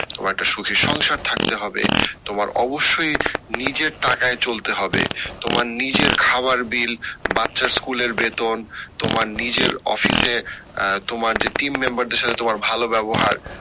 তোমার একটা সুখের সংসার থাকতে হবে, তোমার অবশ্যই নিজের টাকায় চলতে হবে তোমার নিজের খাওয়ার bill বাচ্চার স্কুলের বেতন তোমার নিজের অফিসে আহ তোমার যে team member দের সাথে তোমার যে ভালো ব্যাবহার।